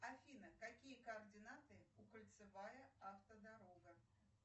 афина какие координаты у кольцевая автодорога